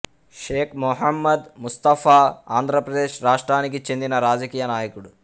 షేక్ మొహమ్మద్ ముస్తఫా ఆంధ్రప్రదేశ్ రాష్ట్రానికి చెందిన రాజకీయ నాయకుడు